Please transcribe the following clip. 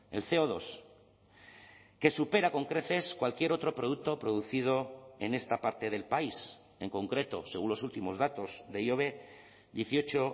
el ce o dos que supera con creces cualquier otro producto producido en esta parte del país en concreto según los últimos datos de ihobe dieciocho